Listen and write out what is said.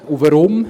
Und warum?